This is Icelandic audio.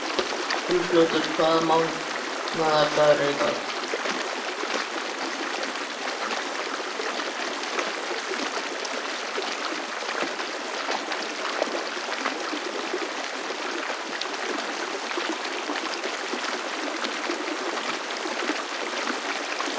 Segi bara það eitt að hann liggur undir grun.